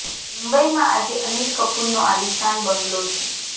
મુંબઈ માં આજે અનિલ કપૂર નો આલીશાન બંગલો છે